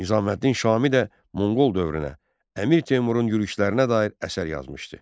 Nizaməddin Şami də Monqol dövrünə Əmir Teymurun yürüşlərinə dair əsər yazmışdı.